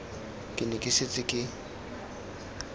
ke ne ke setse ke